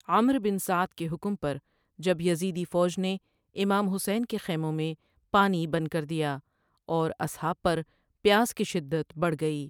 عمر bin Saad کے حکم پر جب یزیدی فوج نے امام حسین کے خیموں میں پانی بند کر دیا اور اصحاب پر پیاس کی شدت بڑھ گئی ۔